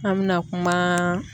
An mɛna kumaaa